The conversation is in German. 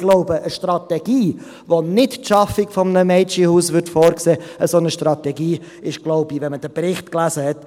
– Ich glaube, eine Strategie, die keine Schaffung eines Mädchenhauses vorsehen würde, ist falsch, wenn man den Bericht gelesen hat.